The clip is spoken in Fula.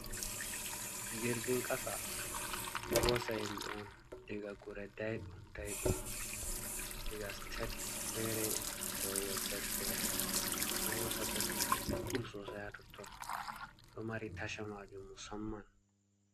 Jirgin qasa ɗo hoosa himɓe on diga gure daiɗum daiɗum, diga sitet fere yahugo sitet fere, ɗo hosa bo himɓe ɗuɗɗum sosai ha totton, ɗo mari tashaji maajum musamman.